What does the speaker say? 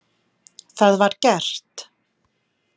Það var gert.